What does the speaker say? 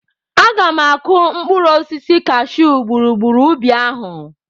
Aga m akụ mkpụrụ osisi cashyuu gburugburu ubi ahụ.